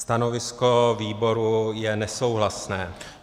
Stanovisko výboru je nesouhlasné.